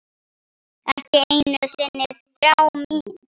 Ekki einu sinni þrá mín.